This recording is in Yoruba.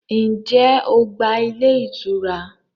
Ǹjẹ́ o gba ilé ìtura?